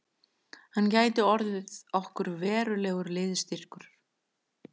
Hann gæti orðið okkur verulegur liðsstyrkur